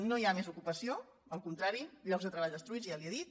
no hi ha més ocupació al contrari llocs de treball destruïts ja li ho he dit